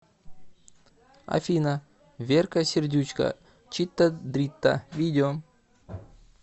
афина верка сердючка чита дрита видео